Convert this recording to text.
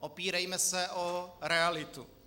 Opírejme se o realitu.